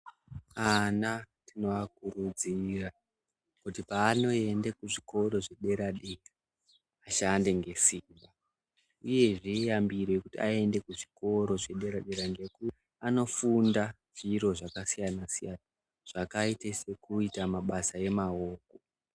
Ana tinovakurudzira kuti paanoende kuzvikora zvedera dera vashande nesimba, uyezve iyambiro yekuti aende kuzvikora zvepadera dera ngekuti anofunda zviro zvakasiyana siyana zvakaite sekuita mabasa emawoko.